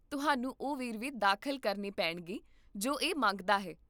ਤੁਹਾਨੂੰ ਉਹ ਵੇਰਵੇ ਦਾਖਲ ਕਰਨੇ ਪੈਣਗੇ ਜੋ ਇਹ ਮੰਗਦਾ ਹੈ